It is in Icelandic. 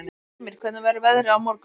Ymir, hvernig verður veðrið á morgun?